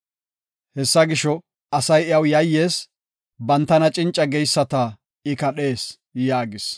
Hessa gisho, asay iyaw yayyees; bantana cinca geyisata I kadhees” yaagis.